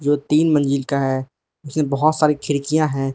जो तीन मंजिल का है उसमें बहुत सारी खिड़कियां है।